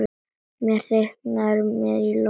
Þetta þykir mér flott!